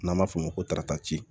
N'an b'a f'o ma ko tarata